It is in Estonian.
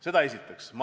Seda esiteks.